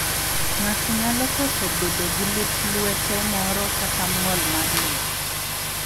Ng'ato nyalo koso bedo gi lith luete moro kata ng'ol mar lwedo.